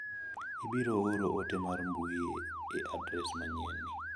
Ibiro oro ote mar mbui e adres manyien ni.